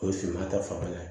O ye finman ta fanfɛla ye